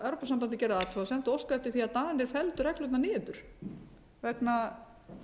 evrópusambandið gerði athugasemd og óskaði eftir því að danir felldu reglurnar niður vegna